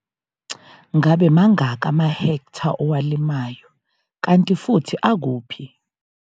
Ngabe mangaki amahektha owalimayo kanti futhi akuphi?